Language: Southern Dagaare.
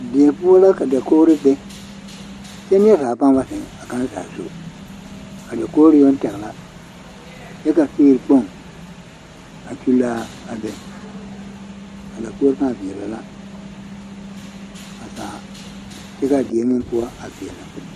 Die poɔ la ka dakogro be kyɛ neɛ zaa paa ba zeŋ a kaŋ zaa zu a dakogro yoŋ tɛgɛ la kyɛ figre kpoŋ a kyulli a be a dakogre paa veɛlɛ la a zaa kyɛ kaa die meŋ poɔ a veɛlɛ.